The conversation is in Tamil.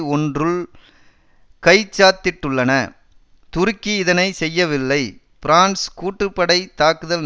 ஒன்றுல் கைச்சாத்திட்டுள்ளன துருக்கி இதனை செய்யவில்லை பிரான்ஸ் கூட்டு படை தாக்குதல்